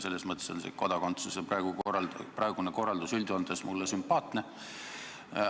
Selles mõttes on see praegune kodakondsuse korraldus üldjoontes mulle sümpaatne.